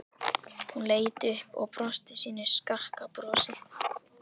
Hún leit upp og brosti sínu skakka brosi.